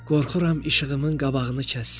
Qorxuram işığımın qabağını kəssin.